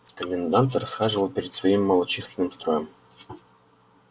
комендант расхаживал перед своим малочисленным строем